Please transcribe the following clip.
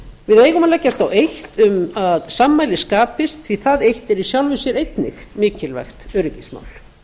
við eigum að leggjast á eitt um að sammæli skapist því það eitt yrði í sjálfu sér einnig mikilvægt öryggismál